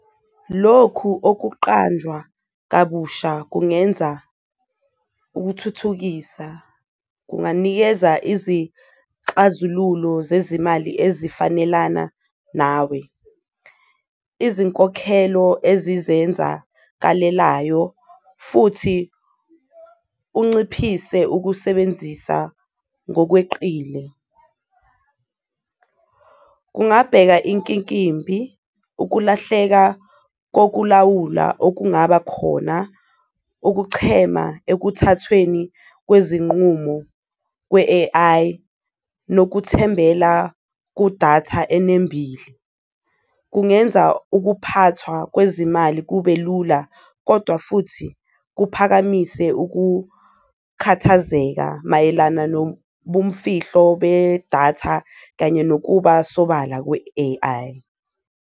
Lokhu okuqanjwa kabusha kungenza ukuthuthukisa, kunganikeza izixazululo zezimali ezifanelana nawe, izinkokhelo ezizenzakalelayo futhi unciphise ukusebenzisa ngokweqile. Kungabheka inkinkimbi ukulahleka kokulawula okungaba khona, ukuchema ekuthathweni kwezinqumo kwe-A_I nokuthembela kudatha enembile. Kungenza ukuphathwa kwezimali kube lula, kodwa futhi kuphakamise ukukhathazeka mayelana nobumfihlo bedatha kanye nokuba sobala kwe-A_I.